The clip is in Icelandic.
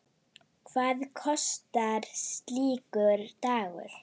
Hvað kostar slíkur dagur?